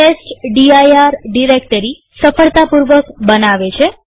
આ test D I R directory સફળતાપૂર્વક બનાવે છે